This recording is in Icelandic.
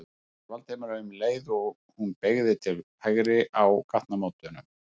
spurði Valdimar um leið og hún beygði til hægri á gatnamótunum.